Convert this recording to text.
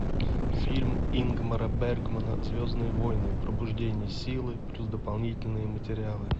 фильм ингмара бергмана звездные войны пробуждение силы плюс дополнительные материалы